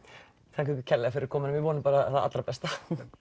þakka ykkur kærlega fyrir komuna við vonum bara hið besta